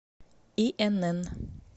инн